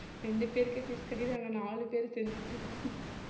ரெண்டு பேருக்கு fees கட்டிட்டு ஆனா நாலு பேரு செஞ்சிட்டிருந்தோம்